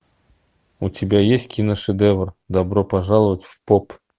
у тебя есть киношедевр добро пожаловать в поп